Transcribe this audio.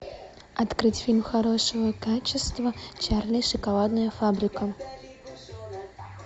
открыть фильм хорошего качества чарли и шоколадная фабрика